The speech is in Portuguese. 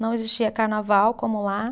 Não existia carnaval como lá.